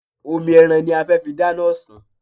Omi ẹran ní a fẹ́ fi dáná ọ̀sán.